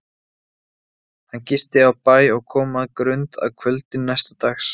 Hann gisti á bæ og kom að Grund að kvöldi næsta dags.